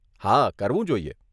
હા, કરવું જોઈએ.